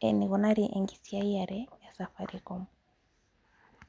eneikunari enkisiayare esafarikom.